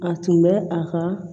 A tun bɛ a ka